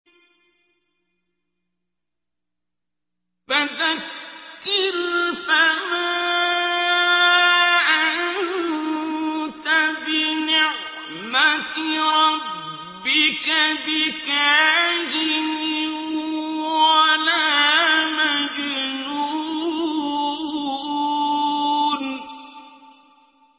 فَذَكِّرْ فَمَا أَنتَ بِنِعْمَتِ رَبِّكَ بِكَاهِنٍ وَلَا مَجْنُونٍ